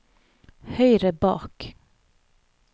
høyre bak